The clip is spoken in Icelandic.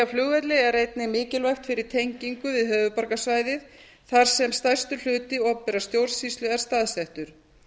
flugvelli er einnig mikilvægt fyrir tengingu við höfuðborgarsvæðið þar sem stærstur hluti opinberrar stjórnsýslu er staðsettur